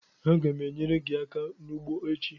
Agam enyere gi aka n'ugbo echi